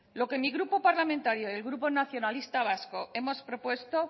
lo que mi grupo parlamentario y el grupo nacionalista vasco hemos propuesto